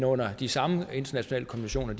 under de samme internationale konventioner